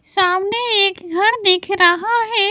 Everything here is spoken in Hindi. सामने एक घर दिख रहा है।